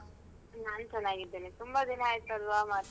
ನನ್ ಚೆನಾಗಿದ್ದೇನೆ ತುಂಬ ದಿನ ಆಯ್ತಲ್ವಾ ಮಾತಾಡಿ?